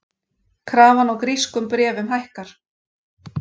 Krafan á grískum bréfum hækkar